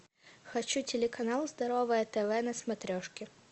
хочу телеканал здоровое тв на смотрешке